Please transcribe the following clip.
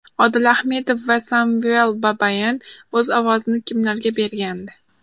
Odil Ahmedov va Samvel Babayan o‘z ovozini kimlarga bergandi?.